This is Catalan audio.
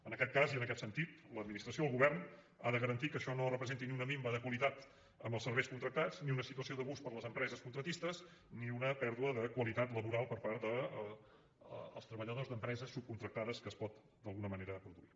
en aquest cas i en aquest sentit l’administració el govern ha de garantir que això no representi ni una minva de qualitat amb els serveis contractats ni una situació d’abús per les empreses contractistes ni una pèrdua de qualitat laboral per part dels treballadors d’empreses subcontractades que es pot d’alguna manera produir